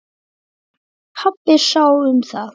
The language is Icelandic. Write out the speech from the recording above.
Pabbi sá um það.